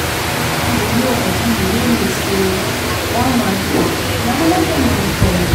You know abi you no know sey one man food na anoda man poison